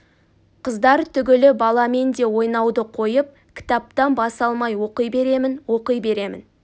қыздар түгілі баламен де ойнауды қойып кітаптан бас алмай оқи беремін оқи беремін